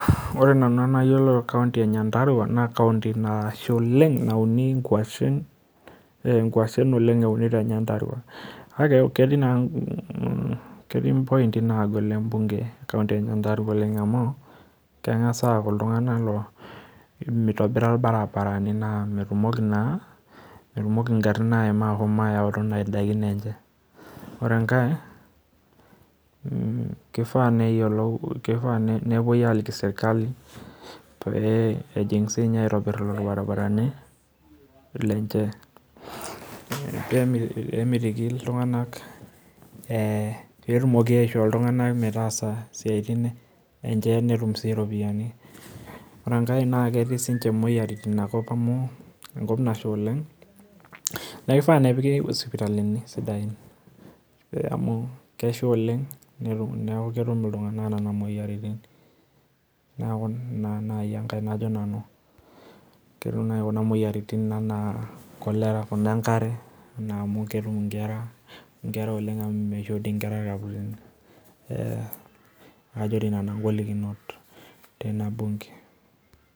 ore nanu entoki nayiolo tekaonti enyandarua naa kesha oleng' naa keunishoi naa ikwashen oleng' eeuni ,naa mitobira sii ilbarabarani, neeku metumoki naa igarin ahom ayautu nena dakin enye , ore enkae keisha nepuoi aaliki serkali pee etum aitobiraki ilbarabarani, pee etumoki aishoo iltung'anak isiatin enye netum sii ataas siatin nemir intokin aitobiraki, ore enkae naa ketii imoyiaritin neeku kifaa nepiki isipitalini sidain amukesha oleng' neeku ketum iltung'anak imoyiaritin, naijo cholera, kuna enkare.